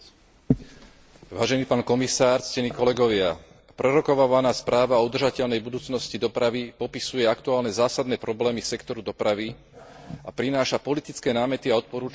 Prerokovávaná správa o udržateľnej budúcnosti dopravy popisuje aktuálne zásadné problémy sektoru dopravy a prináša politické námety a odporúčania, ako je možné sa s uvedenými problémami čo najlepšie vysporiadať.